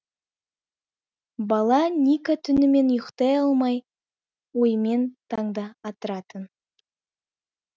бала ника түнімен ұйықтай алмай оймен таңды атыратын